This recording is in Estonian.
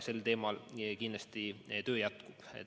See töö kindlasti jätkub.